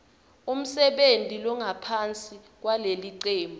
umsebenti longaphansi kwalelicembu